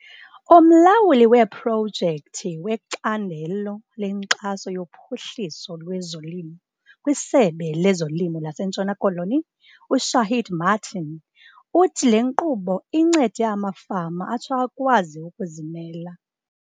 Umlawuli weeprojekthi wecandelo lenkxaso yophuhliso lwezolimo kwiSebe lezoLimo laseNtshona Koloni, uShaheed Martin, uthi le nkqubo incede amafama atsho akwazi ukuzimela.